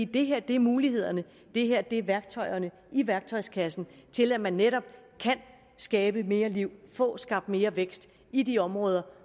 det her er mulighederne det her er værktøjerne i værktøjskassen til at man netop kan skabe mere liv få skabt mere vækst i de områder